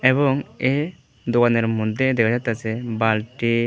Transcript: এবং এ দোকানের মধ্যে দেখা যাইতেসে বাল্বটি--